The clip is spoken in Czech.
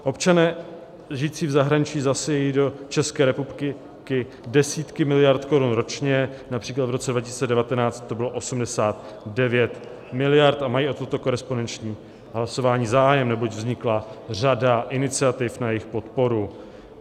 Občané žijící v zahraničí zasejí do České republiky desítky miliard korun ročně, například v roce 2019 to bylo 89 miliard, a mají o toto korespondenční hlasování zájem, neboť vznikla řada iniciativ na jejich podporu.